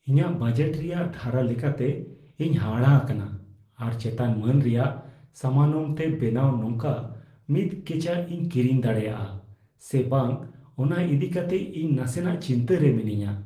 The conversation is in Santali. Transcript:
ᱤᱧᱟᱹᱜ ᱵᱟᱡᱮᱴ ᱨᱮᱭᱟᱜ ᱫᱷᱟᱨᱟ ᱞᱮᱠᱟᱛᱮ, ᱤᱧ ᱦᱟᱦᱟᱲᱟᱜ ᱟᱠᱟᱱᱟ ᱟᱨ ᱪᱮᱛᱟᱱᱼᱢᱟᱹᱱ ᱨᱮᱭᱟᱜ ᱥᱟᱢᱟᱱᱚᱢᱛᱮ ᱵᱮᱱᱟᱣ ᱱᱚᱝᱠᱟ ᱢᱤᱫ ᱠᱮᱪᱟᱜ ᱤᱧ ᱠᱤᱨᱤᱧ ᱫᱟᱲᱮᱭᱟᱜᱼᱟ ᱥᱮ ᱵᱟᱝ ᱚᱱᱟ ᱤᱫᱤ ᱠᱟᱛᱮ ᱤᱧ ᱱᱟᱥᱮᱱᱟᱜ ᱪᱤᱱᱛᱟᱹ ᱨᱮ ᱢᱤᱱᱟᱹᱧᱟ ᱾